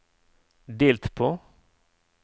delt på